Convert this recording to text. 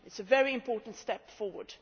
It is a very important step forward.